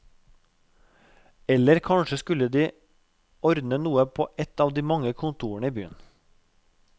Eller kanskje de skulle ordne noe på et av de mange kontorene i byen.